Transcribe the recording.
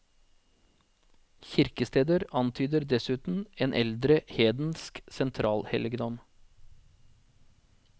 Kirkesteder antyder dessuten en eldre hedensk sentralhelligdom.